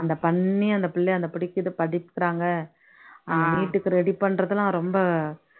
அந்த பண்ணி அந்த புள்ளைய அது புடிக்குது படிக்கிறாங்க அஹ் neet க்கு ready பண்றது எல்லாம் ரொம்ப